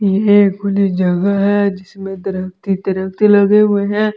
ये खुली जगह है जिसमें दरख्त ही दरख्त लगे हुए हैं।